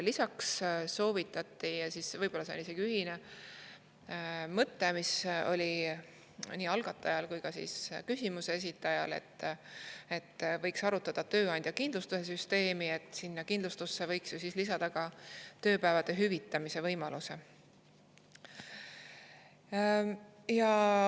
Lisaks soovitati – võib-olla see on isegi ühine mõte, mis oli nii algatajal kui ka küsimuse esitajal –, et võiks arutada tööandja kindlustuse süsteemi ja et sinna kindlustusse võiks lisada ka päevade hüvitamise võimaluse.